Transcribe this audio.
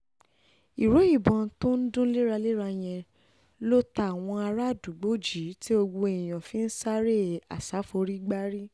ìró ìbọn tó ń dún léraléra yẹn ló ta àwọn àràádúgbò jí tí gbogbo èèyàn fi ń sáré àṣà-forí-gbárí